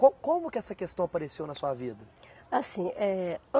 Co como que essa questão apareceu na sua vida? Assim, eh